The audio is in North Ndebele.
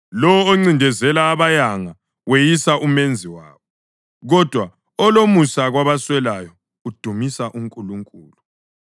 Lowo oncindezela abayanga weyisa uMenzi wabo, kodwa olomusa kwabaswelayo udumisa uNkulunkulu.